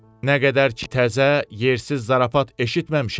Nə qədər ki, təzə, yersiz zarafat eşitməmişəm.